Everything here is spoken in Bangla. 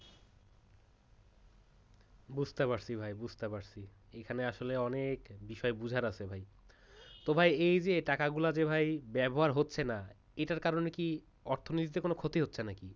বুঝতে পারছি ভাই বুঝতে পারছি এখানে আসলে অনেক বোঝার আছে ভাই এই যে টাকাগুলা ভাই ব্যবহার হচ্ছে না এটার কারণে অর্থনীতিতে ক্ষতি হচ্ছে নাকি?